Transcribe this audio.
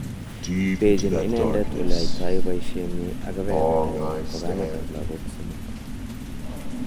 Biechin inendet ole yoito boishenyin ak kebebertanyin ko kametab lagok somok.